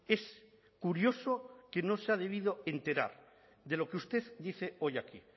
es curioso que no se ha debido de enterar de lo que usted dice hoy aquí